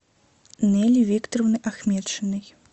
нелли викторовной ахметшиной